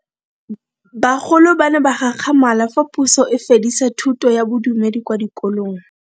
Bagolo ba ne ba gakgamala fa Puso e fedisa thuto ya Bodumedi kwa dikolong.